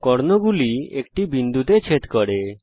কর্ণদুটি একটি বিন্দুতে ছেদ করবে